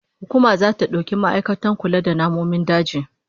Hukuma zata dauki ma'aikatan kula da namomin daji